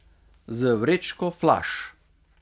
Z vrečko flaš.